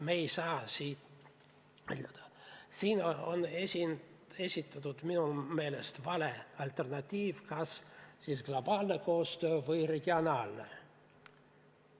Me ei saa siin rääkida – need oleks minu meelest valed alternatiivid – kas globaalsest koostööst või regionaalsest.